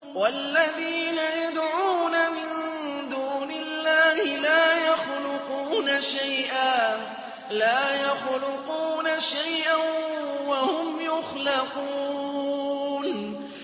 وَالَّذِينَ يَدْعُونَ مِن دُونِ اللَّهِ لَا يَخْلُقُونَ شَيْئًا وَهُمْ يُخْلَقُونَ